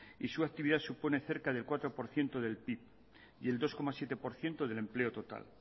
y su actividad supone cerca del cuatro por ciento del pib y el dos coma siete por ciento del empleo total